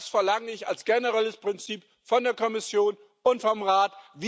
Und das verlange ich als generelles Prinzip von der Kommission und vom Rat.